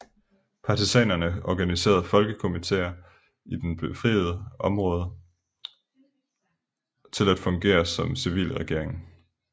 Partisanerne organiserede folkekomiteer i de befriede områder til at fungere som civilregering